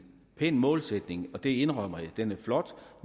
pæn målsætning det indrømmer jeg den er flot